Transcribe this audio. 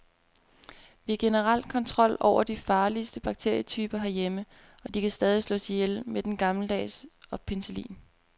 Vi har generelt kontrol over de farligste bakterietyper herhjemme, og de kan stadig slås ihjel med den gammeldags og penicillin.